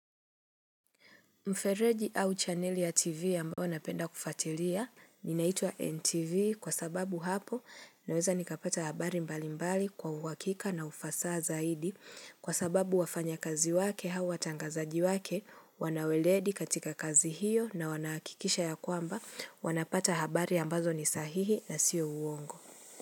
Mfereji au chaneli ya TV ambao wanapenda kufatilia ninaitua NTV kwa sababu hapo naweza nikapata habari mbali mbali kwa uwakika na ufasaa zaidi kwa sababu wafanya kazi wake hawa tangazaji wake wanaweleedi katika kazi hiyo na wanakikisha ya kwamba wanapata habari ambazo ni sahihi na sio uongo.